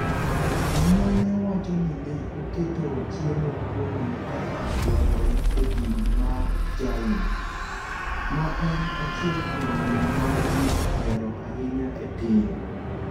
Jonyuolne wacho ni ne oketo chiemo kuome kaka dwarore e din mar Jain, ma en achiel kuom din ma ji ohero ahinya e piny.